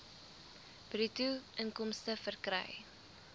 bruto inkomste verkry